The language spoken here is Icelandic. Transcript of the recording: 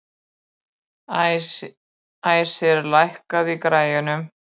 Æsir, lækkaðu í græjunum.